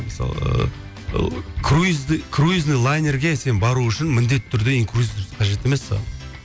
мысалы круизный лайнерге сен бару үшін міндетті түрде инкрузес қажет емес саған